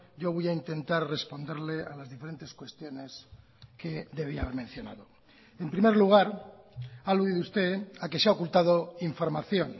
yo voy a intentar responderle a las diferentes cuestiones que debía haber mencionado en primer lugar ha aludido usted a que se ha ocultado información